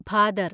ഭാദർ